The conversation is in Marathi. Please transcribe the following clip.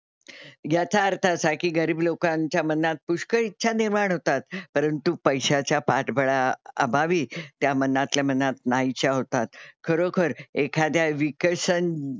याचा अर्थ असा की गरीब लोकांच्या मनात पुष्कळ इच्छा निर्माण होतात. परंतु पैशाच्या पाठबळाअभावी त्या मनातल्या मनात नाहीशा होतात. खरोखर एखाद्या विकसन,